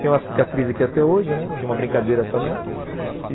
Tenho uma cicatriz aqui até hoje, né, de uma brincadeira também.